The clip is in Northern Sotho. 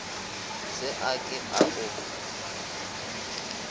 se a ke a o